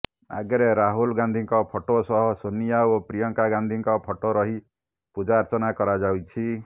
ଆଗରେ ରାହୁଲ ଗାନ୍ଧିଙ୍କ ଫଟୋ ସହ ସୋନିଆ ଓ ପ୍ରିୟଙ୍କା ଗାନ୍ଧିଙ୍କ ଫଟୋ ରହି ପୂଜାର୍ଚ୍ଚନା କରାଯାଇଛି